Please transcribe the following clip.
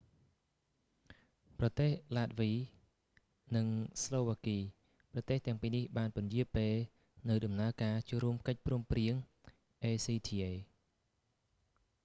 ប្រទេសឡាតវី និងស្លូវ៉ាគី ប្រទេសទាំងពីរនេះបានពន្យារពេលនូវដំណើរការចូលរួមកិច្ចព្រមព្រៀង acta